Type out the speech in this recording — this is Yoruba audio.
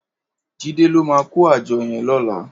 Jide ló mà kó ájò yèn lòlá